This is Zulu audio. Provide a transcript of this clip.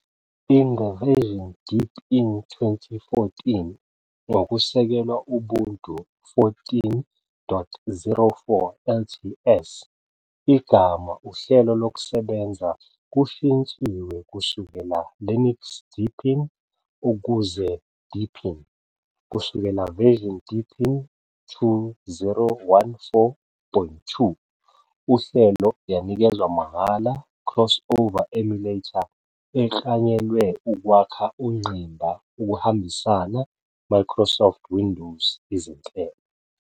In the version Deepin 2014, ngokusekelwe Ubuntu 14.04 LTS, igama uhlelo lokusebenza kushintshiwe kusukela "Linux Deepin" ukuze "Deepin". Kusukela version Deepin 2014.2, uhlelo yanikezwa mahhala CrossOver Emulator, eklanyelwe ukwakha ungqimba ukuhambisana Microsoft Windows izinhlelo.